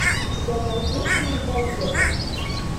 у тебя найдется надоеда